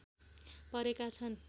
परेका छन्